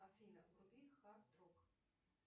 афина вруби хард рок